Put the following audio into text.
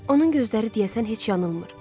onun gözləri deyəsən heç yanılmır.